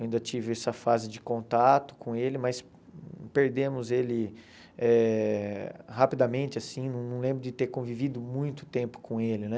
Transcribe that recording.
Ainda tive essa fase de contato com ele, mas perdemos ele eh rapidamente, assim, não lembro de ter convivido muito tempo com ele, né?